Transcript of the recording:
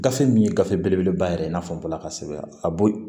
Gafe min ye gafe belebeleba yɛrɛ i n'a fɔ n bɔra ka sɛbɛn a b'o